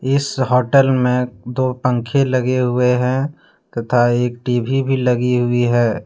इस होटल में दो पंखे लगे हुए हैं तथा एक टी_वी भी लगी हुई है।